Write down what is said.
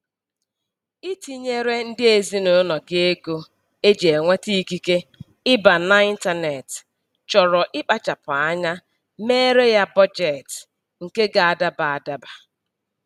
Itinyere ndị ezinụlọ gị ego eji enweta ikike ịba na ịntaneetị chọrọ ịkpachapụ anya meere ya bọjetị nke ga-adaba adaba